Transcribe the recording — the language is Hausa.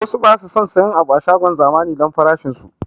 Wasu basu son siyan abu a shagon zamani don farashin su